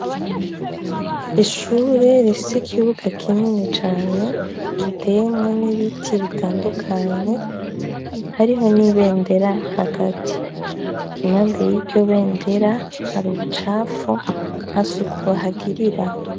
Ishure rifise ikibuga kinini cane giteyemwo nibiti bitandukanye, hariho n'ibendera hagati. Impande yiryo bendera harubucafu, ntasuku bahagirira.